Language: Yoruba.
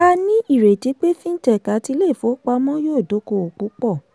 a ní ìrètí pé fintech àti ilé ifowopamọ́ yóò dókòwò púpọ̀.